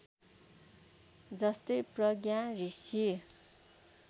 जस्तै प्रज्ञा ऋषि